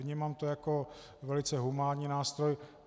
Vnímám to jako velice humánní nástroj.